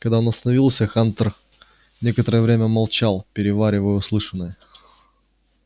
когда он остановился хантер некоторое время молчал переваривая услышанное